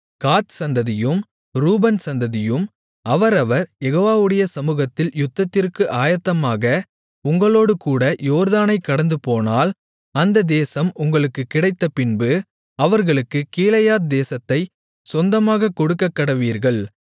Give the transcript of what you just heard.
காத் சந்ததியும் ரூபன் சந்ததியும் அவரவர் யெகோவாவுடைய சமுகத்தில் யுத்தத்திற்கு ஆயத்தமாக உங்களோடுகூட யோர்தானைக் கடந்துபோனால் அந்த தேசம் உங்களுக்கு கிடைத்தபின்பு அவர்களுக்குக் கீலேயாத் தேசத்தைச் சொந்தமாகக் கொடுக்கக்கடவீர்கள்